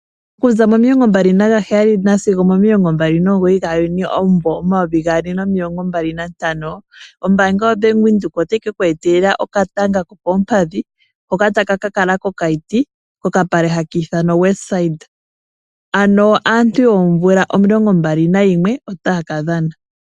Kuza mo 27-29 Juni 2025 ombaanga yaBank Windhoek otayi kekweetela okatanga kokoompadhi hoka taka ka kala kOkaiti, kokapale haki ithanwa Westdene ano aantu yoomvula omilongo mbali nayimwe otaya kadhana.